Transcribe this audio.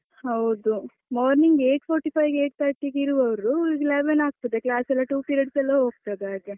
ಹೌದು morning eight forty five eight thirty ಗೆ ಇರುವವರು, ಈಗ eleven ಆಗ್ತದೆ class ಎಲ್ಲ two periods ಎಲ್ಲ ಹೋಗ್ತದೆ ಹಾಗೆ.